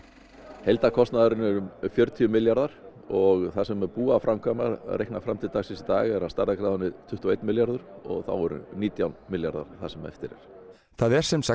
heildarkostnaðurinn er um fjörutíu milljarðar og það sem er búið að framkvæma reiknað fram til dagsins í dag er af stærðargráðunni tuttugu og einn milljarður og þá eru nítján milljarðar það sem eftir er það er sem sagt